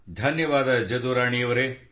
ಧನ್ಯವಾದ ಜದುರಾಣಿಯವರೆ